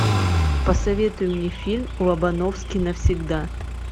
посоветуй мне фильм лобановский навсегда